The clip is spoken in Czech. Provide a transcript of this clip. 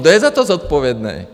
Kdo je za to zodpovědný?